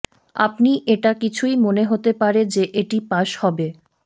আপনি এটা কিছুই মনে হতে পারে যে এটি পাস হবে